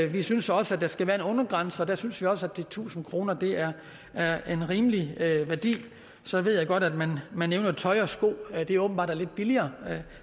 vi synes også at der skal være en undergrænse og der synes vi også at de tusind kroner er en rimelig værdi så ved jeg godt at man man nævner tøj og sko og at det åbenbart er lidt billigere